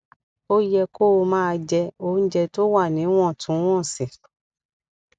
ó yẹ kó o máa jẹ oúnjẹ tó wà níwòntúnwònsì